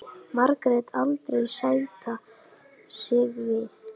Margrét aldrei sætta sig við.